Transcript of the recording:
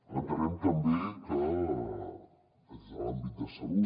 entenem també que des de l’àmbit de salut